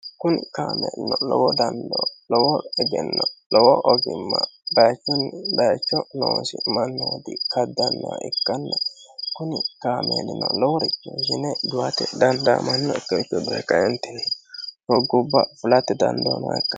kuni kaameeluno lowo dandoo lowo egenno lowo ogimma bayichunni bayicho noosi mannooti kaddannaha ikkanna kuni kaameelino loworicho ishine duhate dandaamannokkiricho duhe kaentinni doggubba fulatte dandoo nooha ikkano.